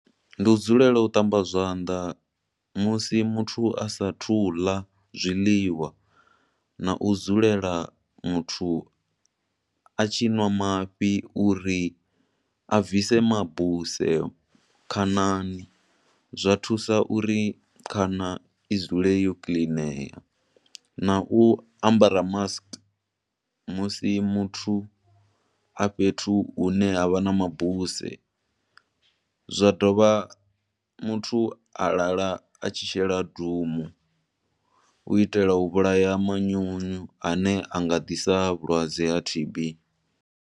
Ndi u dzulela u ṱamba zwanḓa musi muthu a sa athu u ḽa zwiḽiwa na u dzulela muthu a tshi nwa mafhi u ri a bvisa mabuse khanani, zwa thusa uri khana i dzule yo kiḽinea, nau u ambara mask musi muthu a fhethu hune ha vha na mabuse. Zwa dovha muthu a lala a tshi shela Doom, u itela u vhulaha manyunyu ane a nga ḓisa vhulwadze ha T_B.